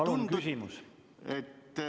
Palun küsimus!